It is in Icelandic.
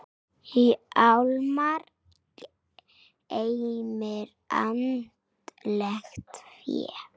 Hjálmar geymir andlegt fé.